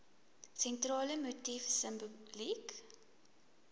sentrale motief simboliek